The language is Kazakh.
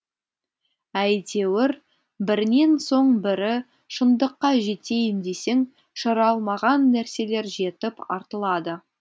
әйтеуір бірінен соң бірі шындыққа жетейін десең шырамалған нәрселер жетіп артылады